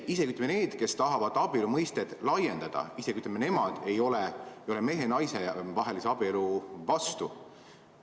Isegi need, kes tahavad abielu mõistet laiendada, ei ole mehe ja naise vahelise abielu vastu.